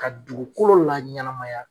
Ka dugukolo la ɲɛnamaya.